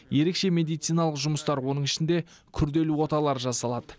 ерекше медициналық жұмыстар оның ішінде күрделі оталар жасалады